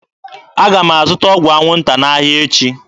Aga m azụta ọgwụ anwụnta n'ahịa echi.